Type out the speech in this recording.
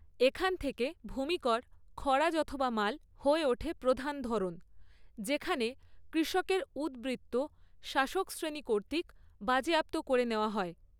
এখন থেকে, ভূমি কর খরাজ অথবা মাল হয়ে ওঠে প্রধান ধরন, যেখানে কৃষকের উদ্বৃত্ত শাসক শ্রেণী কর্তৃক বাজেয়াপ্ত করে নেওয়া হয়।